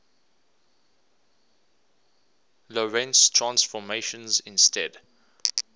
lorentz transformations instead